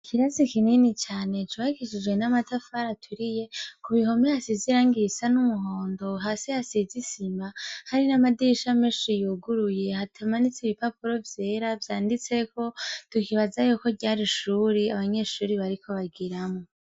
Ikirasi kinini cane c'ubakishijwe n'amatafari aturiye, ku bihome hasize irangi risa n'umuhondo, hasi hasize isima hari n'amadirisha menshi yuguruye hatamanitse ibipapuro vyera vyanditseko, tukibaza ko ryari ishure abanyeshure bariko bigiramwo.